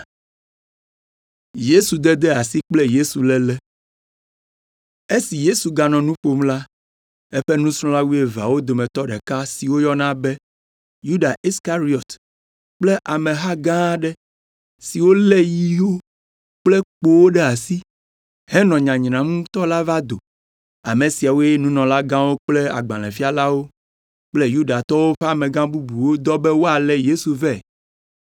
Esi Yesu ganɔ nu ƒom la, eƒe nusrɔ̃la wuieveawo dometɔ ɖeka si woyɔna be, Yuda Iskariɔt kple ameha gã aɖe, siwo lé yiwo kple kpowo ɖe asi henɔ nyanyram ŋutɔ la va do. Ame siawoe nunɔlagãwo kple agbalẽfialawo kple Yudatɔwo ƒe amegã bubuwo dɔ be woalé Yesu vɛ.